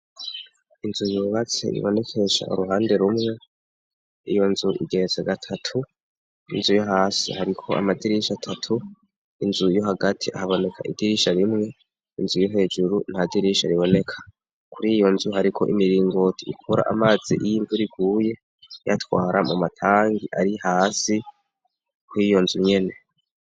inzu yubatse ibonekesha uruhande rumwe iyo nzu igeretse gatatu inzu yo hasi hariko amadirisha atatu inzu yo hagati haboneka idirisha rimwe inzu iri hejuru nta dirisha riboneka kuri iyo nzu hariko imiringoti ikura amazi iyo imvura iguye iyatwara mu matangi ari hasi kwiyo nzu nyene.